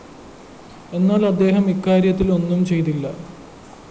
എന്നാല്‍ അദ്ദേഹം ഇക്കാര്യത്തില്‍ ഒന്നുംചെയ്തില്ല